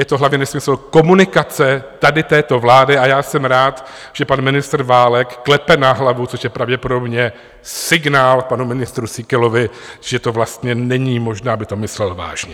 Je to hlavně nesmysl komunikace tady této vlády a já jsem rád, že pan ministr Válek klepe na hlavu, což je pravděpodobně signál panu ministru Síkelovi, že to vlastně není možné, aby to myslel vážně.